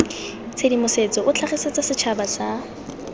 tshedimosetso o tlhagisetsa setšhaba sa